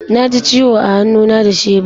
Na ji ciwo a hannu na da shebur.